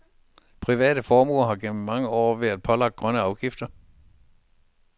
Private forbrugere har gennem mange år været pålagt grønne afgifter.